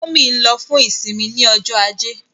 Mummy nlo fún isinmi ní Ọjọ́ Ajé.